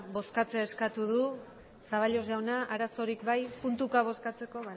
bozkatzea eskatu du zaballos jauna arazorik puntuka bozkatzeko